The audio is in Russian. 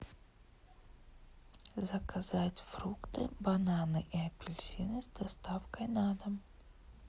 заказать фрукты бананы и апельсины с доставкой на дом